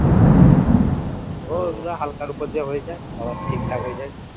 হালকার উপর দিয়ে হয়ে যায় আবার ঠিকঠাক হয়ে যায়